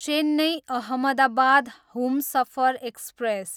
Chennai, Ahmedabad Humsafar express